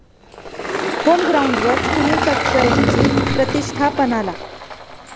होमग्राऊंडवर सुनील तटकरेंची प्रतिष्ठापणाला!